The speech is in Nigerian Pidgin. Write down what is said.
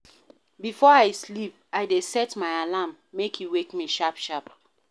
Before I sleep, I dey set my alarm, make e wake me sharp-sharp